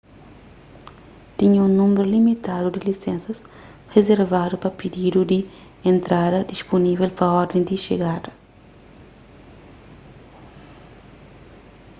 tinha un númeru limitadu di lisensas rizervadu pa pididu di entrada dispunível pa orden di xegada